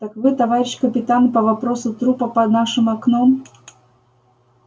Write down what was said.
так вы товарищ капитан по вопросу трупа под нашим окном